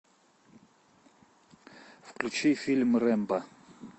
включи фильм рэмбо